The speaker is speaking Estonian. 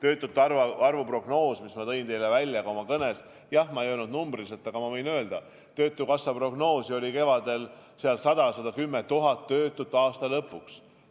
Töötukassa prognoos töötute arvu kohta, mis ma tõin teile välja ka oma kõnes – jah, ma ei öelnud numbriliselt, aga ma võin nüüd öelda – oli kevadel 100 000 –